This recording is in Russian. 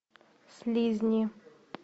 слизни